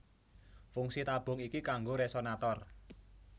Fungsi tabung iki kanggo resonator